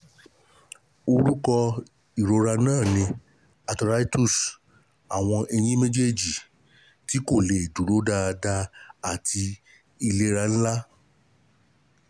Orúkọ ìrora náà ni AURTHORITUS àwọn ẹ̀yìn méjèèjì tí kò lè dúró dáadáa àti àìlera ńlá